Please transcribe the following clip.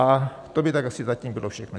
A to by tak asi zatím bylo všechno.